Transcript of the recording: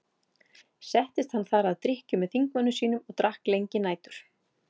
Settist hann þar að drykkju með þingmönnum sínum og drakk lengi nætur.